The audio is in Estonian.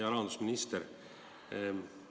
Hea rahandusminister!